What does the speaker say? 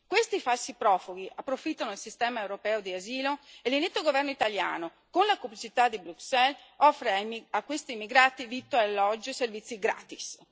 Questi falsi profughi approfittano del sistema europeo di asilo e l'inetto governo italiano, con la complicità di Bruxelles, offre anni a questi immigrati vitto, alloggio e servizi gratis.